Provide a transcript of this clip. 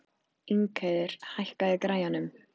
Ingheiður, hækkaðu í græjunum.